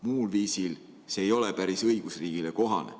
Muul viisil see ei ole päris õigusriigile kohane.